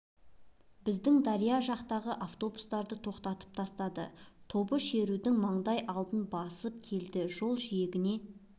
біздің дария жақтағы автобустарды тоқтатып тастады тобы шерудің маңдай алдын бастап келеді жол жиегіне